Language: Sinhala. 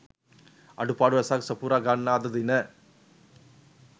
අඩුපාඩු රැසක් සපුරා ගන්නා අද දින